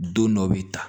Don dɔ bi ta